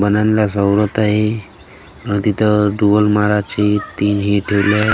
बन्यालला गौरत आहे आणि तिथं टूवल महाराजचे तीन हे ठेवले आहेत .